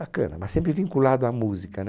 Bacana, mas sempre vinculado à música, né?